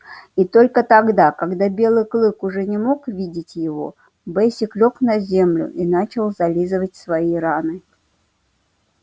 и только тогда когда белый клык уже не мог видеть его бэсик лёг на землю и начал зализывать свои раны